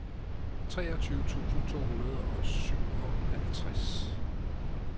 treogtyve tusind to hundrede og syvoghalvtreds